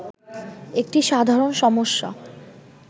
একটি সাধারণ সমস্যা